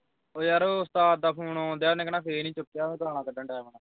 ਓਏ ਯਾਰ ਓਹ ਉਸਤਾਦ ਦਾ phone ਆਉਣ ਦਿਆ ਉਹਨੇ ਕਹਿਣਾ ਨੀ ਚੁਕਿਆ ਗਾਲਾਂ ਕੱਢਣ ਦਿਆਂ